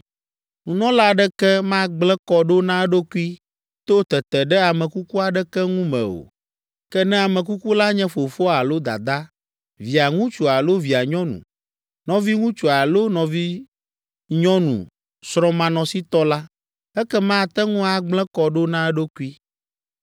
“ ‘Nunɔla aɖeke magblẽ kɔ ɖo na eɖokui to tete ɖe ame kuku aɖeke ŋu me o, ke ne ame kuku la nye fofoa alo dadaa, Via ŋutsu alo via nyɔnu, nɔviŋutsu alo nɔvinyɔnu srɔ̃manɔsitɔ la, ekema ate ŋu agblẽ kɔ ɖo na eɖokui.